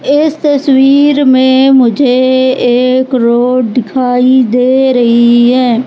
इस तस्वीर में मुझे एक रोड दिखाई दे रही हैं।